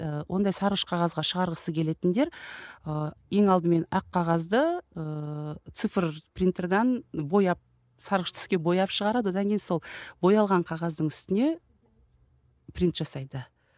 ы ондай сарғыш қағазға шығарғысы келетіндер ы ең алдымен ақ қағазды ыыы цифр принтерден бояп сарғыш түске бояп шығарады одан кейін сол боялған қағаздың үстіне принт жасайды